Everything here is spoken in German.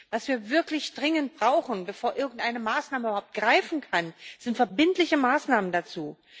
Was wir wirklich dringend brauchen, bevor irgendeine Maßnahme überhaupt greifen kann, sind verbindliche Maßnahmen dazu.